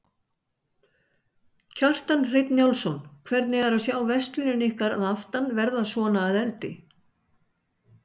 Kjartan Hreinn Njálsson: Hvernig er að sjá verslunina ykkar fyrir aftan verða svona að eldi?